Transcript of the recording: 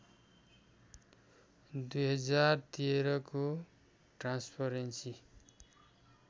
२०१३ को ट्रान्सपरेन्सी